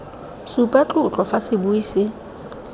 supa tlotlo fa sebui se